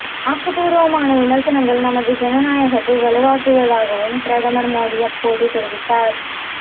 ஆக்கப்பூர்வமான விமர்சனங்கள் நமது ஜனநாயகத்தை வலுவாக்குவதாகவும் பிரதமர் மோடி அப்போது தெரிவித்தார்